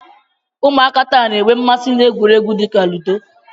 Ụmụaka taa na-enwe mmasị na egwuregwu dị ka ludo.